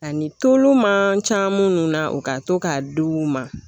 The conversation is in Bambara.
Ani tulu man ca minnu na u ka to k'a di u ma